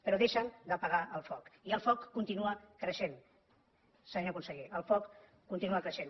però deixen d’apagar el foc i el foc continua creixent senyor conseller el foc continua creixent